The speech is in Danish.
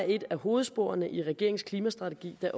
et af hovedsporene i regeringens klimastrategi det